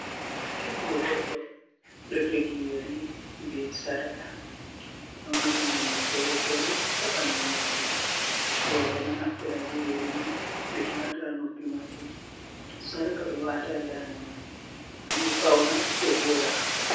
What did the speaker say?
Jungo goɗɗo ɗo jogi ƴeri be sarka, ɗo mari nonde fere-fere ha ɓandu majum, roɓe ɗo naftira be ƴeri mai ɓe wata ha noppi maɓɓe sarka ɓe wata dande maɓɓe ngam ɓe fauna ɓe voɗa.